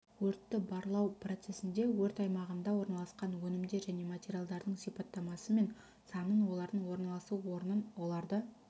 өртті барлау процесінде өрт аймағында орналасқан өнімдер және материалдардың сипаттамасы мен санын олардың орналасу орнын оларды